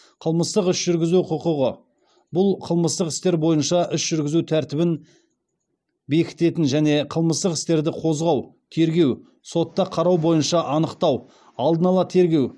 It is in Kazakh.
қылмыстық іс жүргізу құқығы бұл қылмыстық істер бойынша іс жүргізу тәртібін бекітетін және қылмыстық істерді қозғау тергеу сотта қарау бойынша анықтау алдын ала тергеу